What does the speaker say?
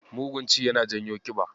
Mugun ci yana janyo ƙiba.